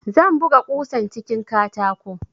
Zan buga kusan cikin katako